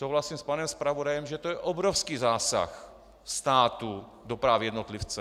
Souhlasím s panem zpravodajem, že to je obrovský zásah státu do práv jednotlivce.